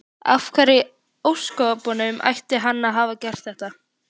Af hverju í ósköpunum ætti hann að hafa gert það?